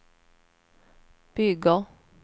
bygger